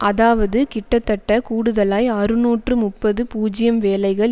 அதாவது கிட்டத்தட்ட கூடுதலாய் அறுநூற்று முப்பது பூஜ்ஜியம் வேலைகள்